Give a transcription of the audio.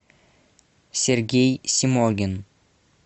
сергей симогин